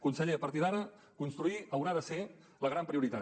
conseller a partir d’ara construir haurà de ser la gran prioritat